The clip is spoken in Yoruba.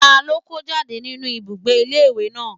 Ta ló kó jáde nínu ibùgbé ilé ìwé náà?